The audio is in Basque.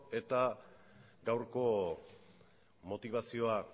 eta gaurko motibazioa